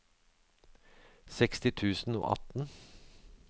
seksti tusen og atten